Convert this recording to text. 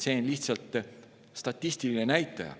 See on lihtsalt statistiline näitaja.